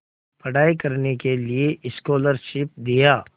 पढ़ाई करने के लिए स्कॉलरशिप दिया